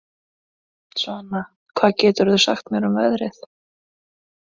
Svana, hvað geturðu sagt mér um veðrið?